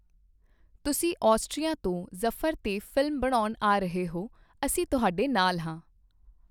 ਤੁਸੀਂ ਆਸਟ੍ਰੀਆ ਤੋਂ ਜਫਰ ਤੇ ਫ਼ਿਲਮ ਬਣਾਉਣ ਆ ਰਹੇ ਹੋ, ਅਸੀਂ ਤੁਹਾਡੇ ਨਾਲ ਹਾਂ।